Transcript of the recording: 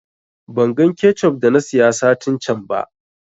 Ban gan kechup da na siya satin can ba